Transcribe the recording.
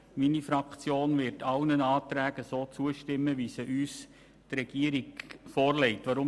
Die Fraktion SP-JUSO-PSA wird sämtlichen Anträgen zustimmen, wie sie uns vom Regierungsrat vorgelegt werden.